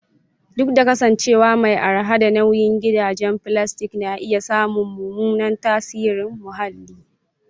Duk da kasancewa mai araha da nauyi, gidajen filastik na iya samun mummunan tasirin muhalli.